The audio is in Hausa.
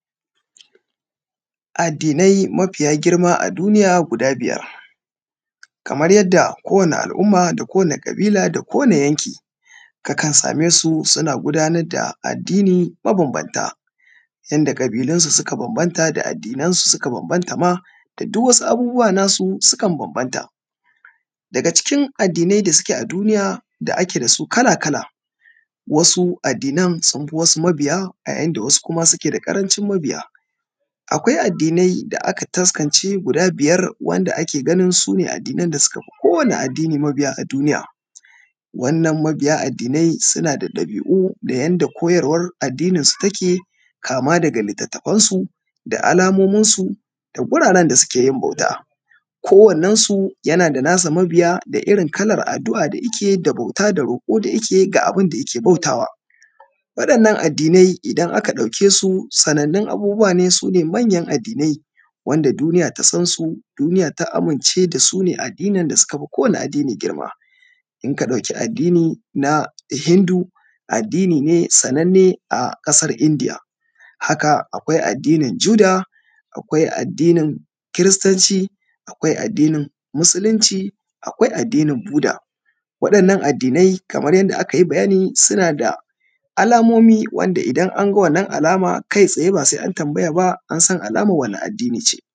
Addinai mafiya girma a duniya guda biyar, kamar yadda kowani al’umma da kowani ƙabila da kowani yanki ka kan same suna gudanar da addini mabambanta yanda ƙabilunsu suka bambanta da addinansu suka bambantama da duk wasu abubuwa nasu sukan bambanta. Daga cikin addinai da suke a duniya da ake dasu kala-kala wasu addinan sun fi wasu mabiya a yayin da wasu kuma suke da ƙarancin mabiya. Akwai addinai da aka taskance guda biyar wanda ake ganin su ne addinan da suka fi kowani addini mabiya a duniya, wannan mabiya addinai suna da dabi’u da yanda koyarwa addinin su take kama daga litattafansu da alamomin su da guraran da suke yin bauta. Kowanen su yana da nasa mabiya da irin kalan addu’a da yike bauta da roƙo da yike ga abinda da yike bautawa, wadannan addinai idan aka dauke su sanannu abubuwa ne su ne manyan addinai wanda duniya ta sansu duniya ta amince da su ne a addinin da suka fi kowani addini girma inka ɗauki addini na hindu addini ne sannan ne a ƙasar indiya, haka akwai addinin juda, akwai addinin kiristanci akwai addinin musulunci akwai addinin buda wa’innan addinai kamar yanda aka yi bayani suna da alamomi wanda idan anga wannan alama kai tsaye ba sai an tambaya ba ansan alamar wacce addini ce.